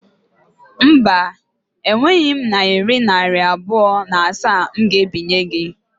Mba, e nweghị m nayira narị abụọ na asaa m ga ebinye gi